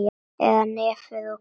Eða nefið of hvasst.